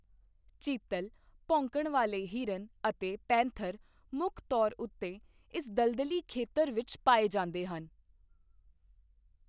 ਚੀਤਲ, ਭੌਂਕਣ ਵਾਲੇ ਹਿਰਨ ਅਤੇ ਪੈਂਥਰ ਮੁੱਖ ਤੌਰ ਉੱਤੇ ਇਸ ਦਲਦਲੀ ਖੇਤਰ ਵਿੱਚ ਪਾਏ ਜਾਂਦੇ ਹਨ।